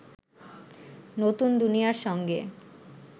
নতুন দুনিয়ার সঙ্গে